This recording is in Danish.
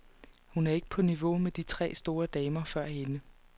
Hun er ikke på niveau med de tre store damer før hende.